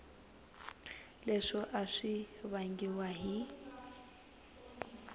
leswo a swi vangiwa hi